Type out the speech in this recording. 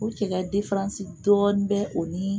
O cɛkɛ dɔɔni bɛ o ni